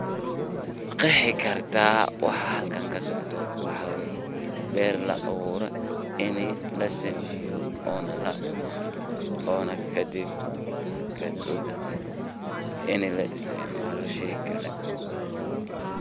Maqeexi kartah waxa halkan kasocdoh waxawaye beer l abuurtay ini lasameeyoh ona la cuunoh ona kadib markat so ini la isticmaloh Kali.